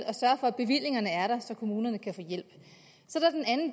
at sørge for at bevillingerne er der så kommunerne kan få hjælp så